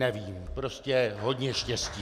Nevím, prostě hodně štěstí!